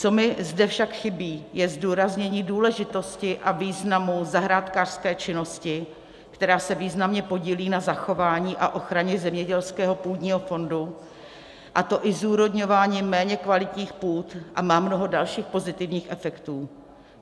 Co mi zde však chybí, je zdůraznění důležitosti a významu zahrádkářské činnosti, která se významně podílí na zachování a ochraně zemědělského půdního fondu, a to i zúrodňováním méně kvalitních půd, a má mnoho dalších pozitivních efektů.